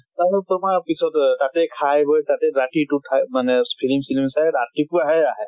আৰু তোমাৰ পিছত এহ তাতে খায় বয় তাতে ৰাতিটো থা মানে ফিলিম চিলিম চাই ৰাতেপুৱাহে আহে।